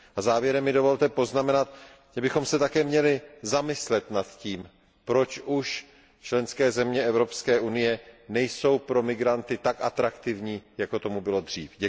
Závěrem mi dovolte poznamenat, že bychom se také měli zamyslet nad tím, proč už členské země Evropské unie nejsou pro migranty tak atraktivní, jako tomu bylo dřív.